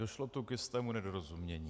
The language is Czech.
Došlo tu k jistému nedorozumění.